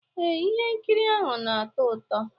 Ee, ihe nkiri ahụ na-atọ ụtọ